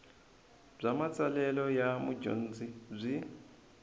bya matsalelo ya mudyondzi byi